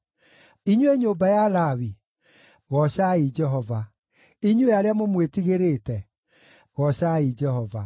Inyuĩ nyũmba ya Lawi, goocai Jehova; inyuĩ arĩa mũmwĩtigĩrĩte, goocai Jehova.